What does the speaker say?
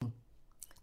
TV 2